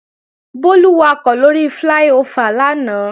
Bólú wakọ̀ lóri fláí-ofà lánàá